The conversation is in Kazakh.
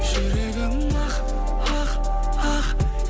жүрегім ақ ақ ақ